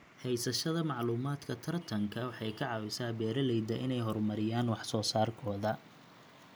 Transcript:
Haysashada macluumaadka tartanka waxay ka caawisaa beeralayda inay horumariyaan wax soo saarkooda.